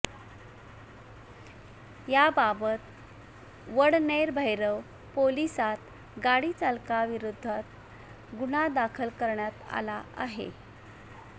याबाबत वडनेरभैरव पोलिसांत गाडीचालकाविरोधात गुन्हा दाखल करण्यात आला आहे